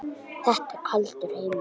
Þetta er kaldur heimur.